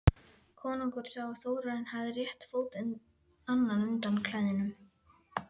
Konungur sá að Þórarinn hafði rétt fót annan undan klæðum.